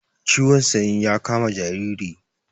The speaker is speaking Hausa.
Ciwon sanyi ya kama jariri